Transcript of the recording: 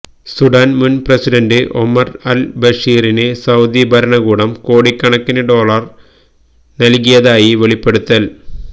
Sudan മുന് president Omar al ബഷീറിന് Saudi ഭരണകൂടം കോടിക്കണക്കിന് ഡോളർ നല്കിയതായി വെളിപ്പെടുത്തൽ